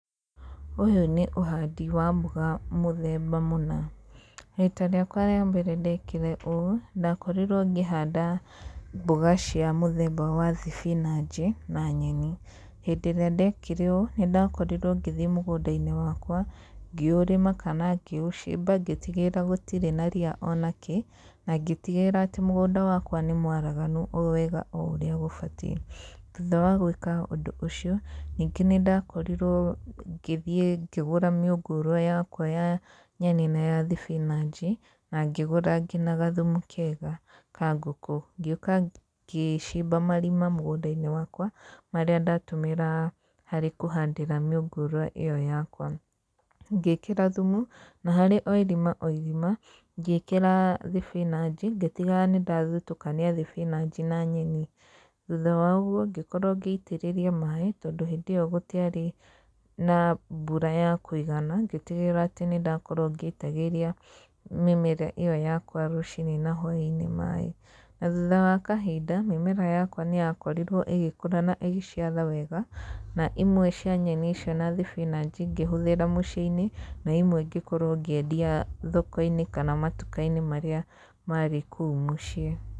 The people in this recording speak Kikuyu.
Ũyũ nĩ ũhandi wa mboga mũthemba mũna, rita rĩakwa rĩa mbere ndekire ũũ ndakorirwo ngĩhanda mboga cia mũthemba wa thibinanji, na nyeni, hĩndĩrĩa ndekire ũũ nĩ ndakorirwo 'ngĩthiĩ mũgũnda-inĩ wakwa, ngĩũrĩma, kana ngĩũcimba, ngíĩtigĩrĩra gũtirĩ na ria onakĩ, na ngĩtigĩrĩra atĩ mũgũnda wakwa nĩ mwaraganu o wega o ũrĩa gũbatiĩ, thujha wa gwĩka ũndũ ũcio ningĩ nĩ ndakorirwo ngĩthiĩ ngĩgũra mĩngũrwa yakwa ya nyeni na ya thibinanji, na ngĩgũra ngina gathumu kega kangũkũ, ngĩũka ngĩcimba marima mũgúũda-inĩ wakwa, marĩa ndatũmagĩra harĩ kũhandĩra mĩũngũrwa ĩyo yakwa, ngĩkĩra thumu na harĩ o irima o irima, ngĩkĩra thibinanji, ngĩtigĩrĩra nĩ ndathutũkania thibinanji na nyeni, thutha wa ũguo ngĩkorwo ngĩitĩrĩria maĩ tondũ hĩndĩyo gũtiarĩ na mbura ya kũigana, ngĩtigĩrĩra atĩ nĩ ndakorwo ngĩitagĩrĩria mĩmera ĩyo yakwa rũci-inĩ na hwainĩ maĩ, na thutha wa kahinda mĩmera yakwa nĩ yakorirwo ĩgĩkũra na ĩgĩciara wega, na imwe cia nyeni icio, na thibinanji ngĩhũthĩra mũciĩ-inĩ, naimwe ngĩkorwo ngĩendia thoko-inĩ kana matuka-inĩ marĩa marĩ kũu mũciĩ.